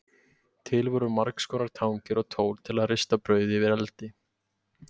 Til voru margskonar tangir og tól til að rista brauð yfir eldi.